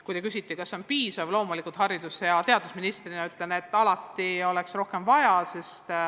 Kui te küsite, kas see on piisav, siis ma loomulikult haridus- ja teadusministrina ütlen, et muidugi oleks rohkem vaja.